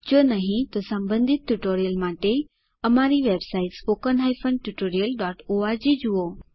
જો નહિં તો સંબંધિત ટ્યુટોરિયલ્સ માટે અમારી વેબસાઇટ httpspoken tutorialorg જુઓ